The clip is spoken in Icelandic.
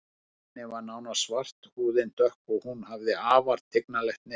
Hárið á henni var nánast svart, húðin dökk og hún hafði afar tignarlegt nef.